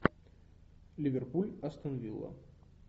ливерпуль астон вилла